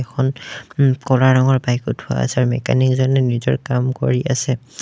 এখন উম ক'লা ৰঙৰ বাইক থোৱা আছে আৰু মেকানিক জনে নিজৰ কাম কৰি আছে।